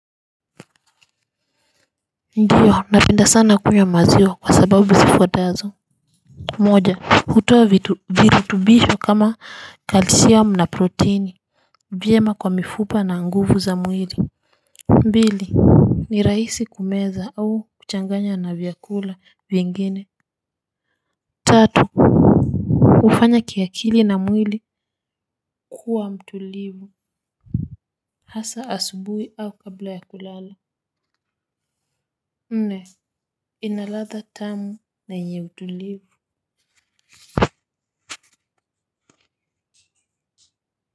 Ndiyo, napenda sana kunywa maziwa kwa sababu zifuatazo. Moja, hutoa virutubisho kama kalsiamu na protini. Vyema kwa mifupa na nguvu za mwili. Mbili, ni raisi kumeza au kuchanganya na vyakula vingine. Tatu, ufanya kiakili na mwili. Kuwa mtulivu, hasa asubui au kabla ya kulala nne, ina ladha tamu na yenye utulivu.